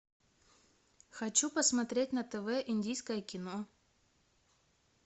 хочу посмотреть на тв индийское кино